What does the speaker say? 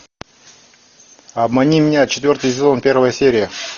обмани меня четвертый сезон первая серия